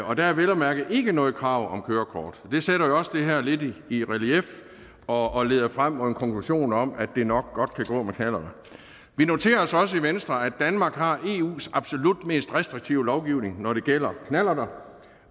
og der er vel at mærke ikke noget krav om kørekort det sætter jo også det her lidt i relief og leder frem mod en konklusion om at det nok godt kan gå med knallert vi noterer os også i venstre at danmark har eus absolut mest restriktive lovgivning når det gælder knallerter